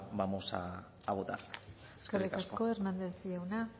vamos a votar eskerrik asko eskerrik asko hernández jauna